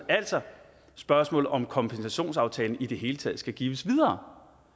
er altså spørgsmålet om hvorvidt kompensationsaftalen i det hele taget skal gives videre